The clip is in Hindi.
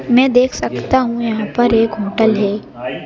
मैं देख सकता हूं यहां पर एक होटल है।